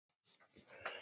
Meira um það á eftir.